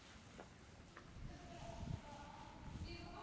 Hellisheiði er í vestanverðri Árnessýslu.